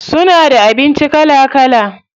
Suna da abinci kala kala.